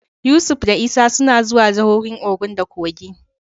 Yusuf da Isa suna zuwa jahohin Ogun da Kogi.